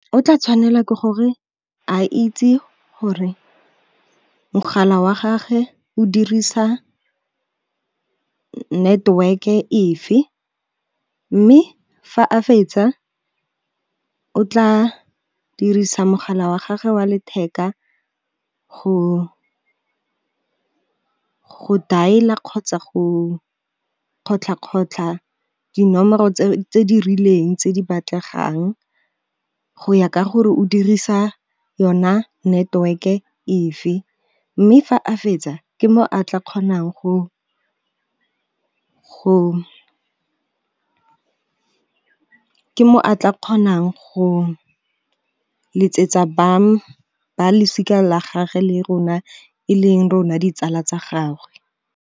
O tla tshwanela ke gore a itse gore mogala wa gage o dirisa network-e e fe, mme fa a fetsa o tla dirisa mogala wa gage wa letheka go dial-a kgotsa go kgotlha kgotlha dinomoro tse di rileng tse di batlegang, go ya ka gore o dirisa yona network-e e fe mme fa a fetsa ke mo a tla kgonang go letsetsa bang ba losika la gage le rona e leng rona ditsala tsa gagwe.